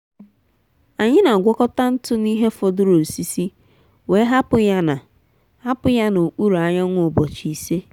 anyị n’agwakọta ntụ na ihe fọdụrụ osisi wee hapụ ya na hapụ ya na okpuru anyanwụ ụbọchị ise.